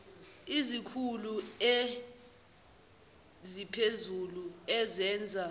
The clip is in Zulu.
izikhulu eziphezulu ezenza